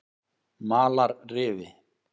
Malarrifi